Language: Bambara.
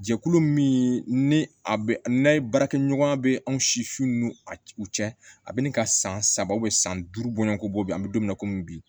Jɛkulu min ni a bɛ n'a ye baarakɛɲɔgɔnya bɛ anw siw n'u cɛ a bɛ ni ka san saba san duuru bɔɲɔgɔn ko bɛ an bɛ don min na komi bi